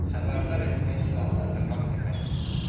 Xəbərdar etmək silahlandırmaq deməkdir.